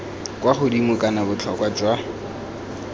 kwa godimo kana botlhokwa jwa